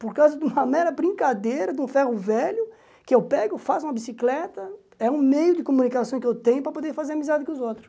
Por causa de uma mera brincadeira, do ferro velho, que eu pego, faço uma bicicleta, é um meio de comunicação que eu tenho para poder fazer amizade com os outros.